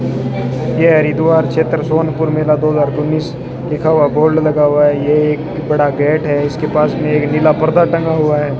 यह हरिद्वार क्षेत्र सोनपुर मेला दो हजार उन्नीस लिखा हुआ बोर्ड लगा हुआ है ये एक बड़ा गेट है इसके पास में एक नीला पर्दा टंगा हुआ है।